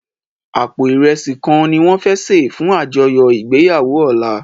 Àpó irèsí kán niwòn fè sé fún ájòyò igbéyàwó òlá